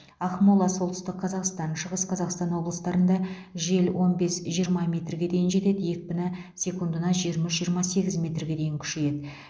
ақмола солтүстік қазақстан шығыс қазақстан облыстарында жел он бес жиырма метрге дейін жетеді екпіні секундына жиырма үш жиырма сегіз метрге дейін күшейеді